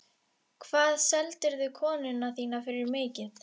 Hvað seldirðu konuna þína fyrir mikið?